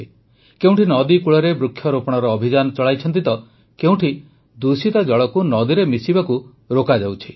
କେଉଁଠି ନଦୀକୂଳରେ ବୃକ୍ଷରୋପଣର ଅଭିଯାନ ଚଳାଇଛନ୍ତି ତ କେଉଁଠି ଦୂଷିତ ଜଳକୁ ନଦୀରେ ମିଶିବାକୁ ରୋକାଯାଉଛି